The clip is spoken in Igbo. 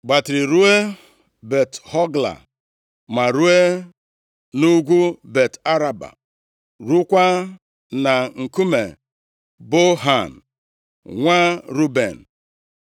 gbatịrị ruo Bet-Hogla, ma ruo nʼugwu Bet-Araba, + 15:6 Maọbụ, Osimiri Mediterenịa \+xt Ọnụ 34:14\+xt* rukwaa na nkume Bohan, nwa Ruben.